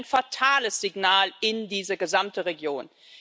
Es ist ein fatales Signal für diese gesamte Region.